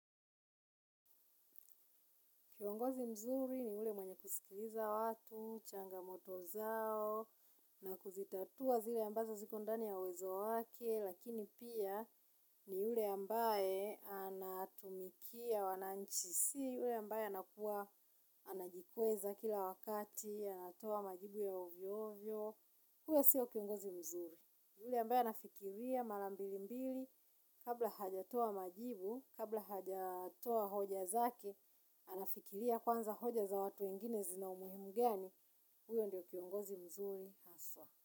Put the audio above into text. Kiongozi mzuri ni ule mwenye kusikiliza watu, changamoto zao, na kuzitatua zile ambazo ziko ndani ya uwezo wake, lakini pia ni yule ambaye anatumikia wananchi si, yule ambaye anakuwa anajikweza kila wakati, anatoa majibu ya ovyovyo. Huyo sio kiongozi mzuri yule ambaye anafikiria mara mbili mbili. Kabla hajatoa majibu kabla hajatoa hoja zake anafikiria kwanza hoja za watu wengine zina umuhimu gani. Huyo ndiyo kiongozi mzuri haswa.